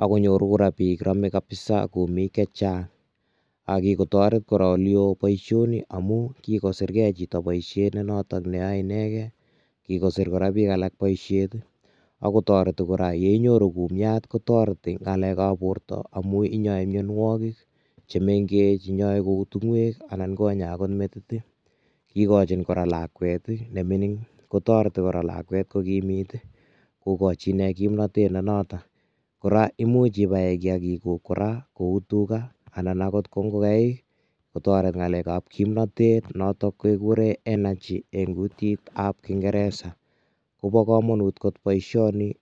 ak konyoru rapinik biik. Rame kapisa kumik che chang ak kigotoret oleyoo boisioni amu kigosirgei chito boisiet ne noto ne yoe inegen. Kigosir kora biik alak boisiet agotoreti kora yeinyoru kumiat kotoreti ngalekab borto amu inyoe mianwogik chemengech. Inyoe ku tingoek anan konya agot metit. Igochin kora lakwet ii ne mining, kotoreti kora lakwet kogimit, kogochi inne kimnatet ne noto. Kora imuch ibaen kiagikuk kora kou tuga anan agot kou ngogaik kotoret ngalekab kimnatetet noto keguren energy eng kutitab Kingeresa. Kobo kamanut boisioni.